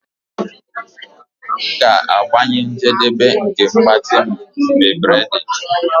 M ga-agbanye njedebe nke mgbatị m mgbe braiding